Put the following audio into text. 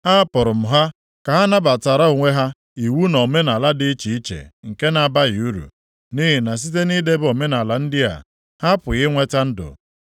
Ahapụrụ m ha ka ha nabatara onwe ha iwu na omenaala dị iche iche nke na-abaghị uru. Nʼihi na site nʼidebe omenaala ndị a, ha apụghị inweta ndụ.